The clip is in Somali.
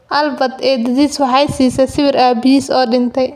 Albert eeddadiis waxay siisay sawirka aabihiis oo dhintay.